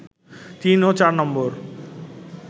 তিন ও চার নম্বর